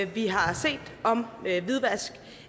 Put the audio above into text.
vi har set om hvidvask